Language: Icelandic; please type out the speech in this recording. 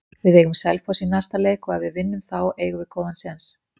Við eigum Selfoss í næsta leik og ef við vinnum þá eigum við góðan séns.